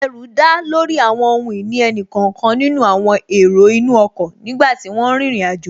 Ẹrù dá lórí àwọn ohun ìní ẹnì kọ̀ọ̀kan nínú àwọn èrò inú ọkọ̀ nígbàtí wọ́n n rin ìrìn àjò